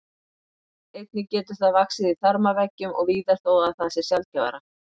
Einnig getur það vaxið í þarmaveggjum og víðar þó að það sé sjaldgæfara.